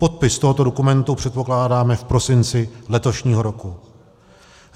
Podpis tohoto dokumentu předpokládáme v prosinci letošního roku.